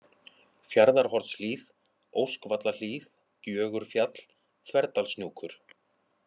Fjarðarhornshlíð, Óskvallahlíð, Gjögurfjall, Þverdalshnjúkur